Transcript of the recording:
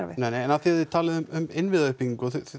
neinei en af því að þið talið um innviðauppbyggingu og þið